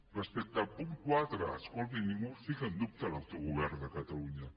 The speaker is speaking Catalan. respecte al punt quatre escolti ningú posa en dubte l’autogovern de catalunya